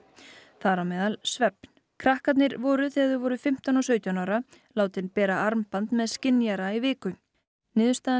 þar á meðal svefn krakkarnir voru þegar þau voru fimmtán og sautján ára látin bera armband með skynjara í viku niðurstaðan